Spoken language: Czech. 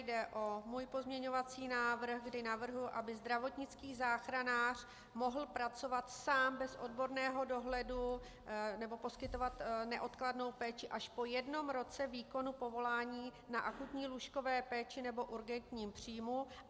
Jde o můj pozměňovací návrh, kdy navrhuji, aby zdravotnický záchranář mohl pracovat sám bez odborného dohledu nebo poskytovat neodkladnou péči až po jednom roce výkonu povolání na akutní lůžkové péči nebo urgentním příjmu.